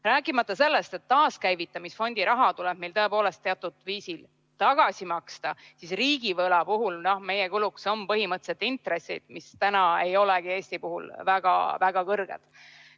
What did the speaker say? Rääkimata sellest, et kui taaskäivitamisfondi raha tuleb meil tõepoolest teatud viisil tagasi maksta, siis riigivõla puhul on meie kuluks põhimõtteliselt intressid, mis praegu ei olegi Eestil väga kõrged.